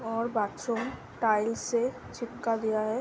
और bathroom tiles से चिपका दिया है ।